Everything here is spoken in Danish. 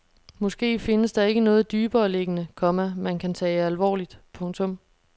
Måske findes der ikke noget dybereliggende, komma man kan tage alvorligt. punktum